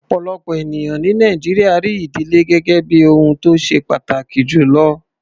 Ọ̀pọ̀lọpọ̀ ènìyàn ní Nàìjíríà rí ìdílé gẹ́gẹ́ bí ohun tó ṣe pàtàkì jù lọ.